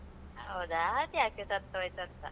ಹೌದ? ಅದು ಯಾಕೆ ಸತ್ತು ಹೋಯ್ತಂತ?